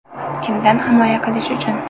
Kimdan himoya qilish uchun?